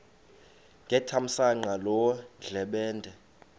ngethamsanqa loo ndlebende